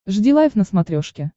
жди лайв на смотрешке